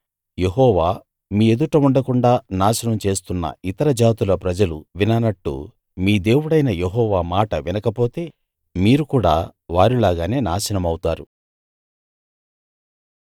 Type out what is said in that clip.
యెహోవా మీ ఎదుట ఉండకుండా నాశనం చేస్తున్న ఇతర జాతుల ప్రజలు విననట్టు మీ దేవుడైన యెహోవా మాట వినకపోతే మీరు కూడా వారిలాగానే నాశనమౌతారు